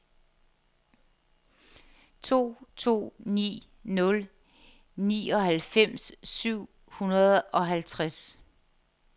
to to ni nul nioghalvfems syv hundrede og halvtreds